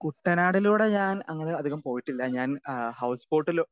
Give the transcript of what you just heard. speaker 2 കുട്ടനാട്ടിലൂടെ അങ്ങനെ ഞാൻ അധികം പോയിട്ടില്ല ഞാൻ ഹൗസ് ബോട്ടില്